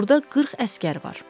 Burda 40 əsgər var.